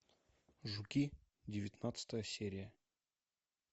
жуки девятнадцатая серия